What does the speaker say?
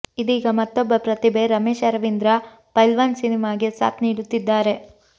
ಇದೀಗ ಮತ್ತೊಬ್ಬ ಪ್ರತಿಭೆ ರಮೇಶ್ ಅರವಿಂದ್ರ ಪೈಲ್ವಾನ್ ಸಿನಿಮಾಗೆ ಸಾಥ್ ನೀಡುತ್ತಿದ್ದಾರೆ